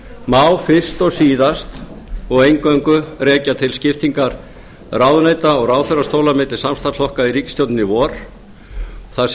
má fyrst og síðast og eingöngu rekja til skiptingar ráðuneyta og ráðherrastóla milli samstarfsflokka í ríkisstjórninni í vor þar sem